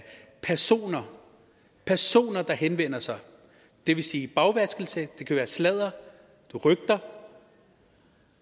personer personer der henvender sig det vil sige bagvaskelse det kan være sladder rygter